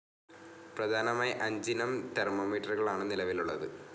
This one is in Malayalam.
പ്രധാനമായി അഞ്ചിനം തെർമോമീറ്ററുകളാണ് നിലവിലുള്ളത്.